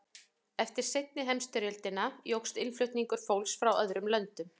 eftir seinni heimsstyrjöldina jókst innflutningur fólks frá öðrum löndum